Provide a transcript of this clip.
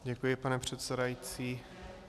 Děkuji, pane předsedající.